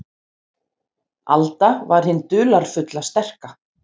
Alda var hin dularfulla, sterka.